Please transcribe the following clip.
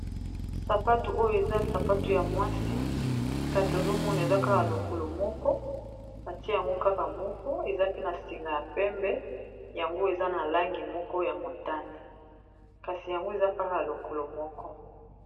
Sapato oyo eza sapato ya mwasi, kasi ozomona eza kaka lokolo moko batie yango kaka moko eza pe na sengi ya pembe yango eza na langi moko ya motane kasi yango eza kaka lokolo moko.